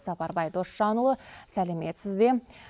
сапарбай досжанұлы сәлеметсіз бе